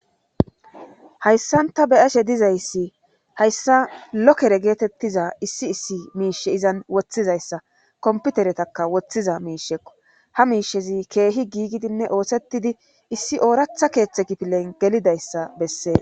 Hayssanta beyashe dizayssi hayssa lokere geetettiza issi issi miishe izan woththizayssa komputeretaka woththiza miishekko ha miishezi keehi giigidinne oosettidi issi ooratha keeththe kipilen gelidayssa bessee